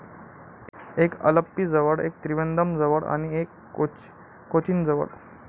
एक अल्लपीजवळ, एक त्रिवेंद्रमजवळ आणि एक कोचिनजवळ.